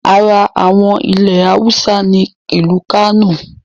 Ara àwọn ilẹ̀ Awúsá ni ìlú Kánò